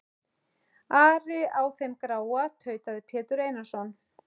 Ari á þeim gráa, tautaði Pétur Einarsson.